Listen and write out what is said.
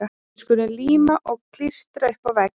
Við skulum líma og klístra upp á vegg.